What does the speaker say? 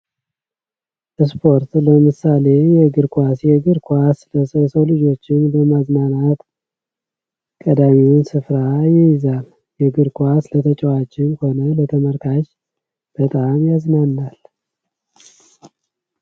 ስፖርት ለምሳሌ እግር ኳስ ፦ የእግር ኳስ የሰው ልጆችን ለማዝናናት ቀዳሚውን ስፍራ ይይዛል ። እግር ኳስ ስለተጫዋችም ሆነ በተመልካች በጣም ያዝናናል ።